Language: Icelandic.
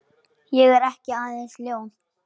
Ég er ekki aðeins ljón.